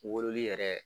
Wololi yɛrɛ